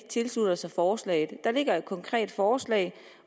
tilslutter sig forslaget der ligger et konkret forslag